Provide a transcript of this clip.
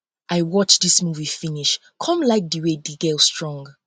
i watch dis movie movie finish come like the way the girl strong